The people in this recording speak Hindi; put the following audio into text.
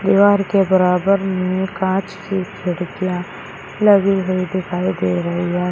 दीवार के बराबर में कांच की खिड़कियां लगी हुई दिखाई दे रही है।